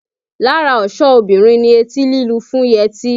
Lára ọ̀ṣọ́ obìnrin ni etí lílu fún yẹtí